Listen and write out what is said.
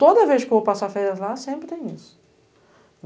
Toda vez que eu vou passar férias lá, sempre tem isso.